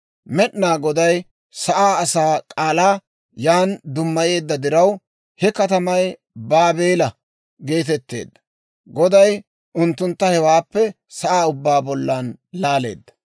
Med'inaa Goday sa'aa asaa k'aalaa yan dummayeedda diraw, he katamay Baabeela geetetteedda. Goday unttuntta hewaappe sa'aa ubbaa bollan laaleedda.